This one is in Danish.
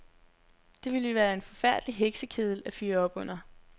Det ville være en forfærdelig heksekedel at fyre op under.